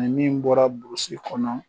Ni min bɔra kɔnɔ